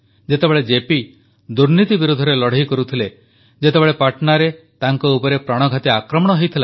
ଯେତେବେଳେ ଜେପି ଦୁର୍ନୀତି ବିରୋଧରେ ଲଢ଼େଇ କରୁଥିଲେ ଯେତେବେଳେ ପାଟନାରେ ତାଙ୍କ ଉପରେ ପ୍ରାଣଘାତୀ ଆକ୍ରମଣ ହୋଇଥିଲା